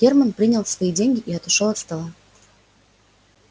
германн принял свои деньги и отошёл от стола